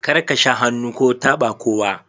Kar ka sha hannu ko taba kowa!